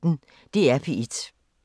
DR P1